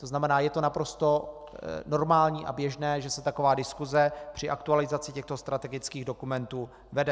To znamená, je to naprosto normální a běžné, že se taková diskuse při aktualizaci těchto strategických dokumentů vede.